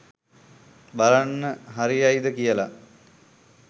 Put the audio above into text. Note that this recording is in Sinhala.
බලන්න හරියයිද කියල.